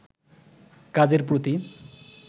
কাজের প্রতি